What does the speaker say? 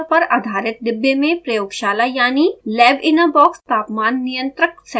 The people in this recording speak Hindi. यहmicrocontroller पर आधारित डिब्बेमेंप्रयोगशाला यानि labinabox तापमान नियंत्रक सेटअप है